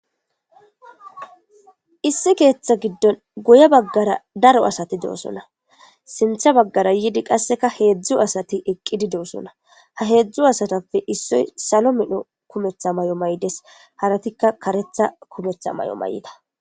issi keeththa giddon goye baggara daro asati doosona sintha baggara yiidi qasseka heedzdzu asati eqqidi doosona ha heedzdzu asatappe issoy salo meno kumetha may7o maydes haratikka karetha kumetha may7o may7ida